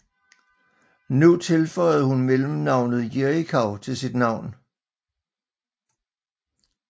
Nu tilføjede hun mellemnavnet Jerichau til sin navn